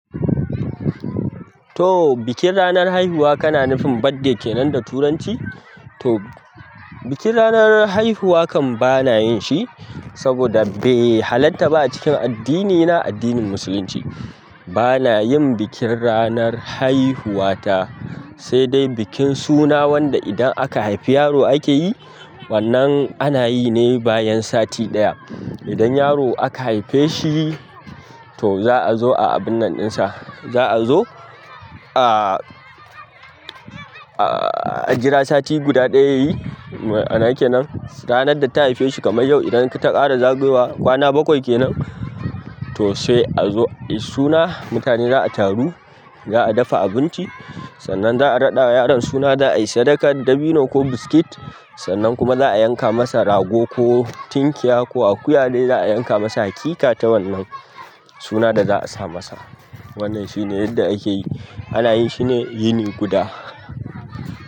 To, bikin ranar haihuwa kana nufin birthday kenan da turanci? To, bikin ranar haihuwa kam bana yin shi saboda bai halarta ba a cikin addinina, addinin musulunci. Bana yin bikin ranar haihuwa ta, sai dai bikin suna wanda idan aka haifi yaro ake yi, wannan ana yi ne bayan sati ɗaya. Idan yaro aka haife shi, to za a zo a abun nan ɗinsa. Za a zo a, a, a jira sati guda ɗaya ya kenan. Ranar da ta haife shi kamar yau, idan ta ƙara zagewa kwana bakwai kenan, to sai a zo a yi suna. Mutane za a taru, za a dafa abinci, sannan za a raɗa wa yaron suna, za a yi sadakar dabino ko biskit. Sannan kuma za a yanka masa rago ko tinkiya ko akuya dai za a yanka masa haƙiƙa ta wannan suna da za a sa masa. Wannan shine yadda ake yi. Ana yin shi ne yini guda.